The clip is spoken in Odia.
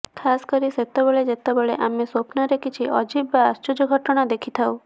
ଖାସ କରି ସେତେବେଳେ ଯେତେବେଳେ ଆମେ ସ୍ୱପ୍ନରେ କିଛି ଅଜୀବ ବା ଆଶ୍ଚର୍ଯ୍ୟ ଘଟଣା ଦେଖିଥାଉ